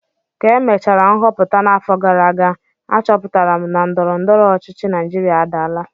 Ka emechara nhọpụta n'afọ gara aga, achọpụtara m na ndọrọ ndọrọ ọchịchị Naijiria adaala